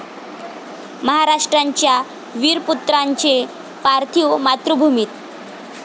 महाराष्ट्राच्या वीरपुत्रांचे पार्थिव मातृभूमीत